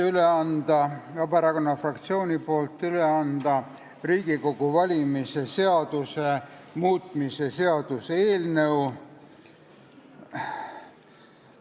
Mul on Vabaerakonna fraktsiooni nimel üle anda Riigikogu valimise seaduse muutmise seaduse eelnõu.